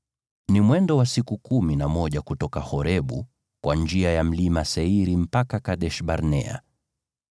(Ni mwendo wa siku kumi na moja kutoka Horebu kwa njia ya Mlima Seiri mpaka Kadesh-Barnea.)